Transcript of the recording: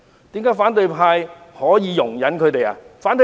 為何反對派可以容忍他們？